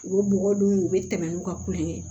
U bɛ bɔgɔ dun u bɛ tɛmɛ n'u ka kulonkɛ ye